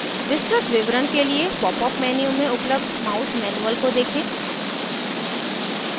विस्तृत विवरण के लिए popअप menu में उपलब्ध mouse manual को देखें